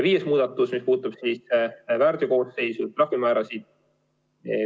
Viies muudatus puudutab väärteokoosseisu, trahvimäärasid.